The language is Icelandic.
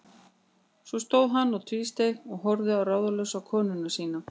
Svo stóð hann og tvísteig og horfði ráðalaus á konu sína.